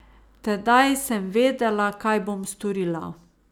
Tedaj sem vedela, kaj bom storila.